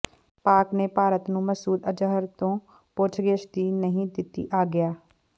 ਪਾਕਿ ਨੇ ਭਾਰਤ ਨੂੰ ਮਸੂਦ ਅਜ਼ਹਰ ਤੋਂ ਪੁੱਛਗਿੱਛ ਦੀ ਨਹੀਂ ਦਿੱਤੀ ਆਗਿਆ